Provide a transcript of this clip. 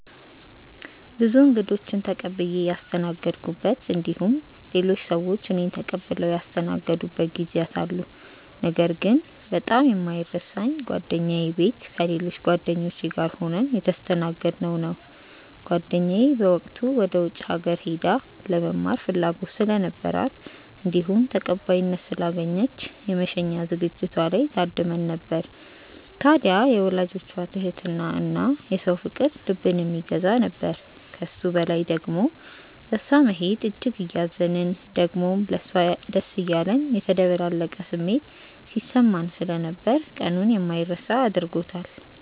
ብዙ እንግዶችን ተቀብዬ ያስተናገድኩበት እንዲሁም ሌሎች ሰዎች እኔን ተቀብለው ያስተናገዱበት ጊዜያት አሉ። ነገር ግን በጣም የማይረሳኝ ጓደኛዬ ቤት ከሌሎች ጓደኞቼ ጋር ሆነን የተስተናገድነው ነው። ጓደኛዬ በወቅቱ ወደ ውጪ ሀገር ሄዳ ለመማር ፍላጎት ስለነበራት እንዲሁም ተቀባይነት ስላገኘች የመሸኛ ዝግጅቷ ላይ ታድመን ነበር። ታድያ የወላጆቿ ትህትና እና የሰው ፍቅር ልብን የሚገዛ ነበር። ከሱ በላይ ደሞ በእሷ መሄድ እጅግ እያዘንን ደሞም ለሷ ደስ እያለን የተደበላለቀ ስሜት ሲሰማን ስለነበር ቀኑን የማይረሳ አድርጎታል።